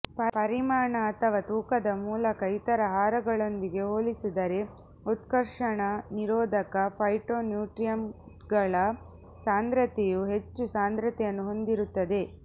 ಪರಿಮಾಣ ಅಥವಾ ತೂಕದ ಮೂಲಕ ಇತರ ಆಹಾರಗಳೊಂದಿಗೆ ಹೋಲಿಸಿದರೆ ಉತ್ಕರ್ಷಣ ನಿರೋಧಕ ಫೈಟೋನ್ಯೂಟ್ರಿಯಂಟ್ಗಳ ಸಾಂದ್ರತೆಯು ಹೆಚ್ಚು ಸಾಂದ್ರತೆಯನ್ನು ಹೊಂದಿರುತ್ತದೆ